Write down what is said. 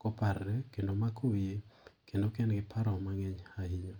koparore kendo omako wiye kendo ka en gi paro mangeny ahinya.